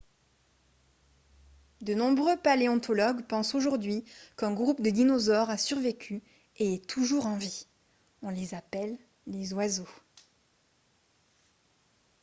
de nombreux paléontologues pensent aujourd'hui qu'un groupe de dinosaures a survécu et est toujours en vie on les appelle les oiseaux